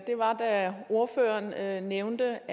var da ordføreren nævnte